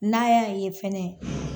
N'a y'a ye fɛnɛ